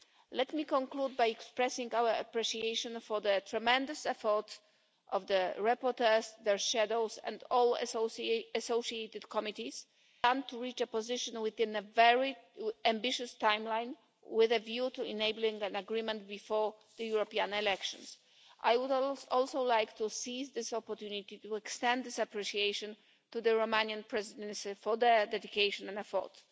Let me conclude by expressing our appreciation for the tremendous effort of the rapporteurs, their shadows and all associated committees in reaching a position within a very ambitious timeline, with a view to enabling an agreement before the European elections. I would also like to take this opportunity to extend this appreciation to the Romanian Presidency for their dedication and effort.